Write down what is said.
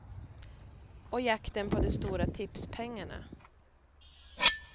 Och jakten på de stora tipspengarna.